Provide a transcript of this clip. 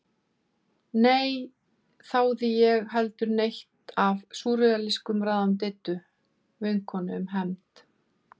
Né þáði ég heldur neitt af súrrealískum ráðum Diddu vinkonu um hefnd.